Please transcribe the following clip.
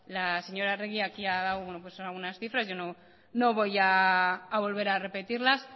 la señora arregi aquí ha dado algunas cifras yo no voy a volver a repetirlas